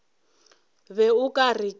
be o ka re ke